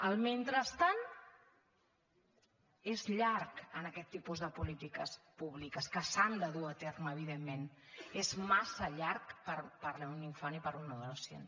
el mentrestant és llarg amb aquest tipus de polítiques públiques que s’han de dur a terme evidentment és massa llarg per un infant i per un adolescent